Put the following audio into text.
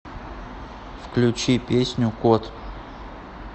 включи песню кот